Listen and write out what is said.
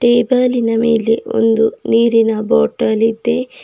ಟೇಬಲಿನ ಮೇಲೆ ಒಂದು ನೀರಿನ ಬಾಟಲ್ ಇದೆ.